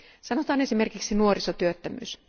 Sanotaan esimerkiksi nuorisotyöttömyys.